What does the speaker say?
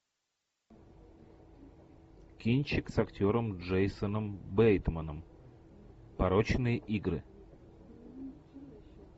кинчик с актером джейсоном бейтманом порочные игры